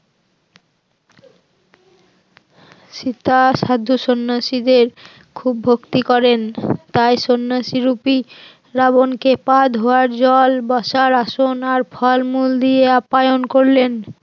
সীতা সাধু সন্ন্যাসীদের খুব ভক্তি করেন, তাই সন্ন্যাসী রুপি রাবণকে পা ধোয়ার জল বসার আসন আর ফলমূল দিয়ে আপ্যায়ন করলেন